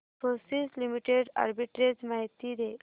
Infosys limited arbitrage माहिती दे